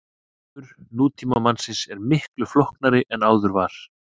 Hljóðheimur nútímamannsins er miklu flóknari en áður var.